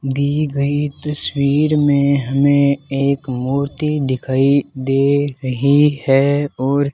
दी गई तस्वीर में हमें एक मूर्ति दिखाई दे रही है और --